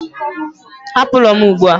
Hapụ ụlọ m ugbu a!